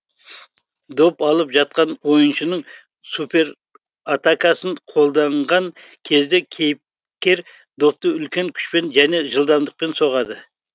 доп алып жатқан ойыншының супер атакасын қолданған кезде кейіп кер допты үлкен күшпен және жылдамдықпен соғады